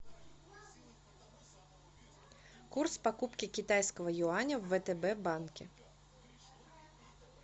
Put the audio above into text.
курс покупки китайского юаня в втб банке